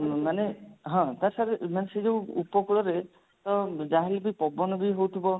ମାନେ ହଁ ମାନେ ସେଇ ଯଉ ଉପକୂଳରେ ଅ ଯାହା ହେଲେ ବି ପବନ ବି ହଉଥିବ